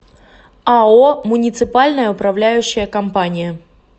ао муниципальная управляющая компания